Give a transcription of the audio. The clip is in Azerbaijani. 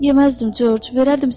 Yeməzdim, Corc,